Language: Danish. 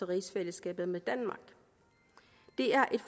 rigsfællesskabet med danmark det er et